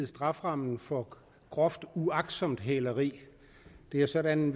strafferammen for groft uagtsomt hæleri det er sådan